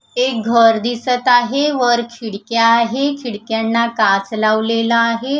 एक घर दिसत आहे वर खिडक्या आहे खिडक्यांना काच लावलेला आहे.